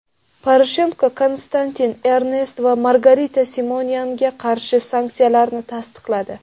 Poroshenko Konstantin Ernst va Margarita Simonyanga qarshi sanksiyalarni tasdiqladi.